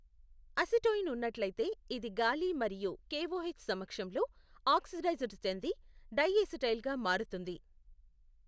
Acetoin ఉన్నట్లయితే ఇది గాలి మరియు కెఓహెచ్ సమక్షంలో ఆక్సిడైజ్డ్ చెంది డైఎసిటైల్గా మారుతుంది.